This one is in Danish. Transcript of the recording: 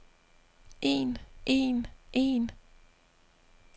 en en en